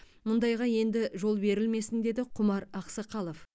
мұндайға енді жол берілмесін деді құмар ақсақалов